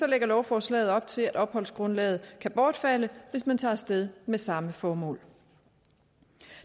lægger lovforslaget op til at opholdsgrundlaget kan bortfalde hvis man tager af sted med samme formål